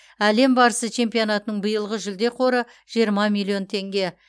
әлем барысы чемпионатының биылғы жүлде қоры жиырма миллион теңге